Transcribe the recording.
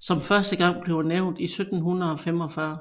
som første gang bliver nævnt i 1745